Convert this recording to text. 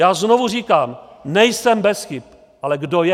Já znovu říkám, nejsem bez chyb - ale kdo je?